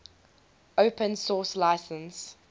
open source license